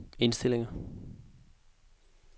indstillinger